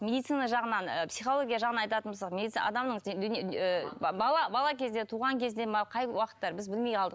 медицина жағынан ы психология жағынан айтатын болсақ адамның бала кезде туған кезде ме қай уақытта біз білмей қалдық